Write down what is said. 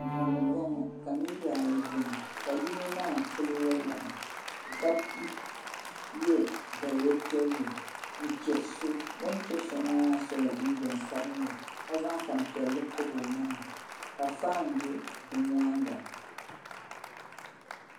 Duu n boŋo ka niraba ayi biɛni ka yino maa pili woliɣi ka yɛ daliya piɛlli n chɛri so o ni chɛri so maa sola jinjɛm sabinli ka zaŋ tanpiɛlli pobi o maŋa ka faan bɛ bɛ nyaanga